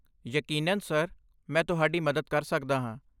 ਯਕੀਨਨ ਸਰ, ਮੈਂ ਤੁਹਾਡੀ ਮਦਦ ਕਰ ਸਕਦਾ ਹਾਂ।